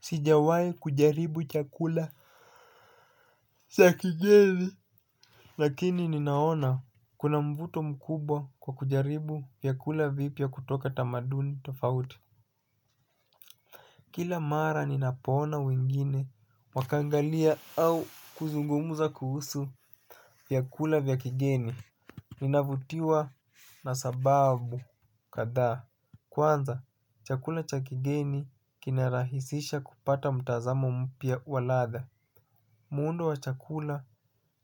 Sijawai kujaribu chakula cha kigeni. Lakini ninaona kuna mvuto mkubwa kwa kujaribu vyakula vipya kutoka tamaduni tofauti. Kila mara ninapoona wengine wakangalia au kuzungumuza kuhusu vyakula vya kigeni ninavutiwa na sababu kadhaa. Kwanza chakula cha kigeni kinarahisisha kupata mtazamo mpya wa ladha. Muundo wa chakula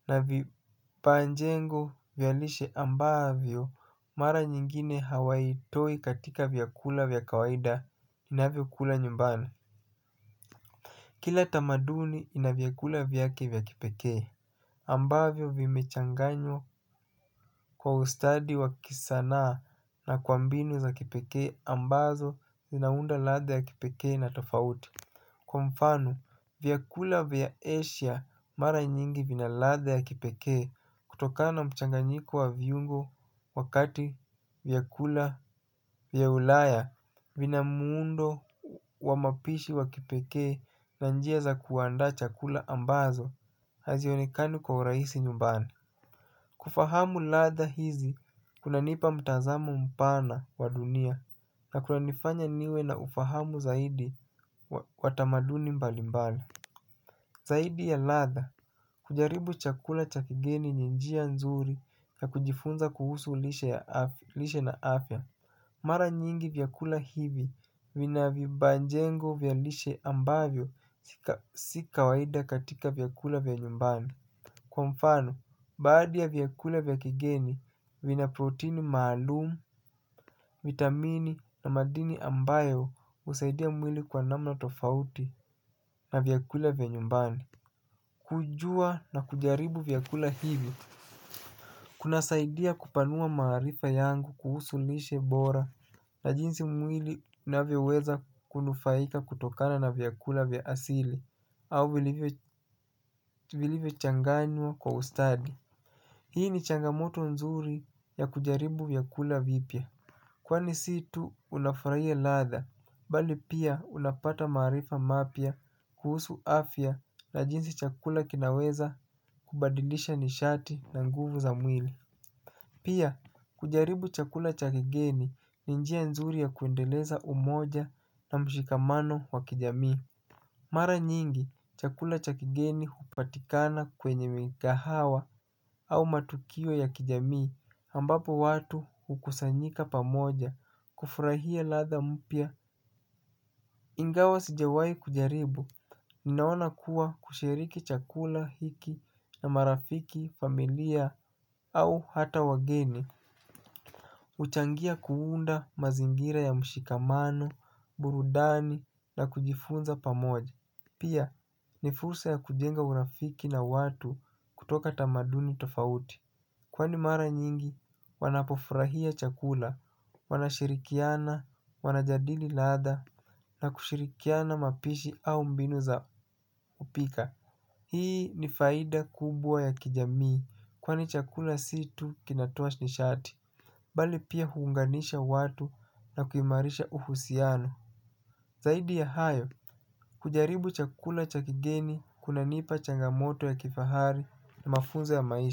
na vipanjengo vyalishe ambavyo mara nyingine hawai ltoi katika vyakula vya kawaida inavyo kula nyumbani. Kila tamaduni ina vyakula vyake vya kipekee ambavyo vimechanganywa kwa ustadi wa kisanaa na kwa mbiniu za kipekee ambazo zinaunda ladha ya kipekee na tofauti. Kwa mfano, vyakula vya Asia mara nyingi vina ladha ya kipekee kutokana na mchanganyiko wa viungo wakati vyakula vya ulaya vina muundo wa mapishi wa kipekee na njia za kuanda chakula ambazo hazionikane kwa uraisi nyumbani. Kufahamu ladha hizi kuna nipa mtazamo mpana wa dunia na kuna nifanya niwe na ufahamu zaidi watamaduni mbalimbali. Zaidi ya latha kujaribu chakula cha kigeni ni njia nzuri na kujifunza kuhusu lishe na afya. Mara nyingi vyakula hivi vina vibanjengo vyalishe ambavyo sika waida katika vyakula vya nyumbana. Kwa mfano, baadi ya viyakula vya kigeni, vina proteini maalumu vitamini na madini ambayo usaidia mwili kwa namna na tofauti na vyakula vya nyumbani. Kujua na kujaribu vyakula hivi, kuna saidia kupanua maarifa yangu kuhusu lishe bora na jinsi mwili unavyaoweza kunufaika kutokana na vyakula vya asili au vilivyo changanywa kwa ustadi. Hii ni changamoto nzuri ya kujaribu vyakula vipya. Kwani si tu unafurahia ladha, bali pia unapata maarifa mapya kuhusu afya na jinsi chakula kinaweza kubadilisha nishati na nguvu za mwili. Pia, kujaribu chakula cha kigeni ni njia nzuri ya kuendeleza umoja na mshikamano wa kijamii. Mara nyingi, chakula cha kigeni hupatikana kwenye mingahawa au matukio ya kijamii ambapo watu ukusanyika pamoja, kufurahia ladha mpya ingawa sijawai kujaribu, ninaona kuwa kushiriki chakula, hiki na marafiki, familia au hata wageni. Uchangia kuunda mazingira ya mshikamano, burudani na kujifunza pamoja. Pia ni fursa ya kujenga urafiki na watu kutoka tamaduni tofauti kwani mara mingi wanapofurahia chakula wanashirikiana wanajadili ladha na kushirikiana mapishi au mbinu. Hii ni faida kubwa ya kijamii kwani chakula si tu kinatoa nishati. Bali pia huunganisha watu na kuimarisha uhusiano zaidi ya hayo hujaribu chakula cha kigeni kunanipa cha kifahari na mafunzo ya maisha.